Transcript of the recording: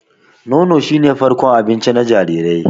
Nono shi ne farkon abinci na jariri.